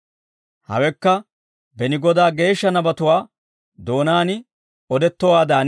Hawekka beni Godaa geeshsha nabatuwaa doonaan odettowaadan,